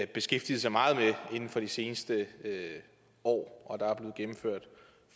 beskæftiget sig meget med inden for de seneste år og der er blevet gennemført